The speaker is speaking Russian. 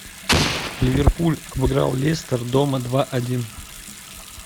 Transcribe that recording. ливерпуль обыграл лестер дома два один